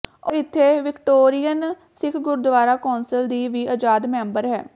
ਉਹ ਇੱਥੇ Victorian Sikh gurdwara council ਦੀ ਵੀ ਆਜ਼ਾਦ ਮੈਂਬਰ ਹੈ